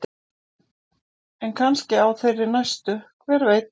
En kannski á þeirri næstu, hver veit?